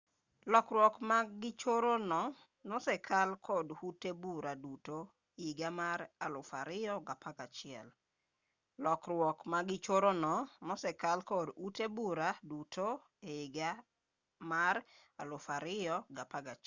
lokruak magichoro no nosekal kod ute bura duto higa mar 2011